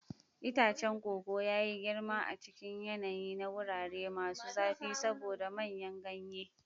Itacen koko ya yi girma a cikin yanayi na wurare masu zafi saboda manyan ganye.